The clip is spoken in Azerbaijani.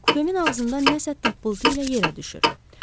Kupemin ağzından nəsə tapıltı ilə yerə düşür.